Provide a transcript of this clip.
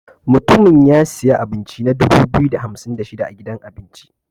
Mutumin ya siya abinci na dubu biyu da hamsin da shida a gidan abinci.